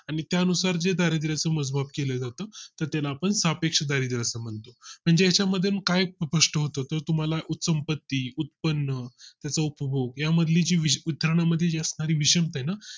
आणि त्यानुसार जे दारिद्र्या चे मोजमाप केले जाते तर त्याला आपण स्थापेक्षित दारिद्र्य असं म्हणतो. म्हणजे ह्याच्या मध्ये काही प्रश्न होत तर तुम्हाला संपत्ती, उत्पन्न त्याचा उपभोग या मधली जी असणारी जी विषविथरणा मधली जी असणारी विषमता आहे ना